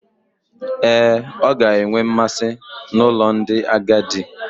Ee, ọ ga-enwe mmasị n'ụlọ ndị agadi.